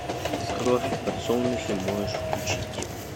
кровь и подсолнухи можешь включить